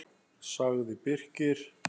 sagði Birkir.